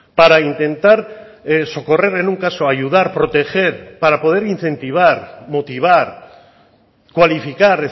para intentar socorrer en un caso ayudar proteger para poder incentivar motivar cualificar